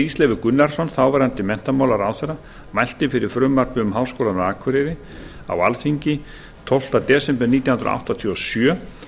íslenskum gunnarsson þáv menntamálaráðherra mælti fyrir frumvarpi um háskólann á akureyri á alþingi tólf desember nítján hundruð áttatíu og sjö